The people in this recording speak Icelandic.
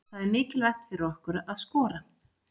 Það er mikilvægt fyrir okkur að skora.